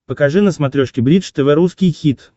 покажи на смотрешке бридж тв русский хит